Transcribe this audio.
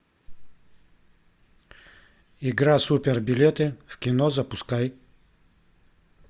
игра супер билеты в кино запускай